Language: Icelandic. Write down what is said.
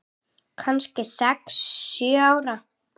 Kannski sex, sjö ára.